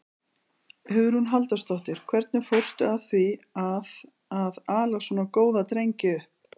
Hugrún Halldórsdóttir: Hvernig fórstu að því að, að ala svona góða drengi upp?